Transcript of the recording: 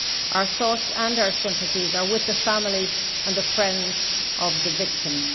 Our thoughts and our sympathies are with the families and the friends of the victims.